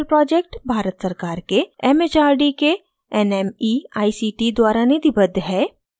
spoken tutorial project Bharat सरकार के mhrd के nmeict द्वारा निधिबद्ध है